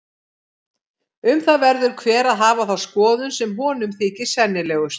Um það verður hver að hafa þá skoðun sem honum þykir sennilegust.